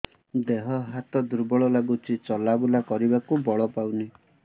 ଦେହ ହାତ ଦୁର୍ବଳ ଲାଗୁଛି ଚଲାବୁଲା କରିବାକୁ ବଳ ପାଉନି